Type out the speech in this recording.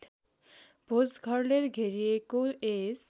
भोजघरले घेरिएको यस